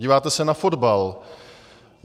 Díváte se na fotbal.